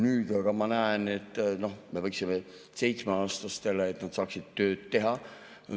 Nüüd aga ma näen, et me võiksime 7‑aastastele, et nad saaksid tööd teha.